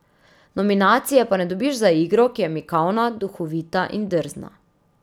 Nominacije pa ne dobiš za igro, ki je mikavna, duhovita in drzna.